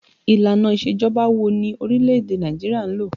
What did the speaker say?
Ìlànà isejọba wo ni orílẹ̀ èdè Nàìjíríà ń lò?